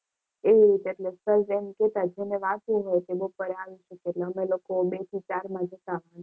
એ રીતે એટલે સર એમ કહેતા કે જેને વાંચવું હોય તે પેપર આપશે અને અમે લોકો બે થી ચાર માં જતા.